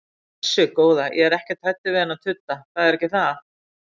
Blessuð góða, ég er ekkert hræddur við þennan tudda, það er ekki það.